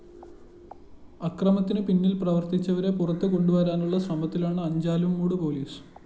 അക്രമത്തിന് പിന്നീല്‍ പ്രവര്‍ത്തിച്ചവരെ പുറത്തുകൊണ്ടു വരാനുള്ള ശ്രമത്തിലാണ് അഞ്ചാലുംമൂട് പോലീസ്